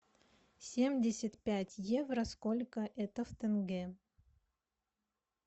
семьдесят пять евро сколько это в тенге